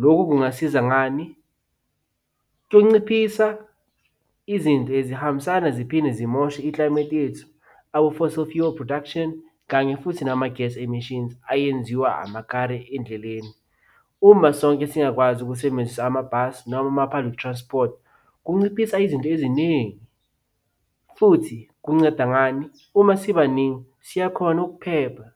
Lokhu kungasiza ngani? Kunciphisa izinto ezihambisana ziphinde zimoshe i-climate yethu production, kanye futhi nama-gas emishini ayenziwa amakare endleleni. Uma sonke singakwazi ukusebenzisa amabhasi noma ama-public transport, kunciphisa izinto eziningi, futhi kunceda ngani? Uma sibaningi siyakhona ukuphepha.